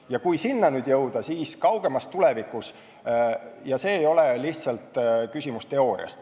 Ja kui nüüd sinna jõuda, siis kaugemas tulevikus see ei ole lihtsalt küsimus teooriast.